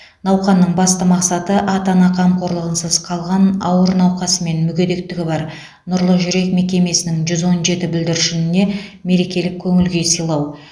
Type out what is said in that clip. науқанның басты мақсаты ата ана қамқорлығынсыз қалған ауыр науқасы мен мүгедектігі бар нұрлы жүрек мекемесінің жүз он жеті бүлдіршініне мерекелік көңіл күй сыйлау